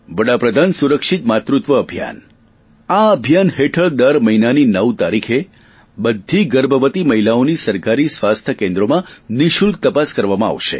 વડાપ્રધાન સુરક્ષિત માતૃત્વ અભિયાન આ અભિયાન હેઠળ દર મહિનાની નવ તારીખે બધી ગર્ભવતી મહિલાઓની સરકારી સ્વાસ્થ્ય કેન્દ્રોમાં નિઃશુલ્ક તપાસ કરવામાં આવશે